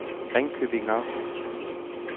Ringkøbing Amt